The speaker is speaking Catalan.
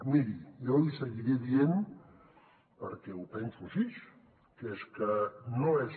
miri jo li seguiré dient perquè ho penso així que és que no és